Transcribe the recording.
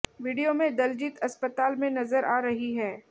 video में दलजीत अस्पताल में नजर आ रही है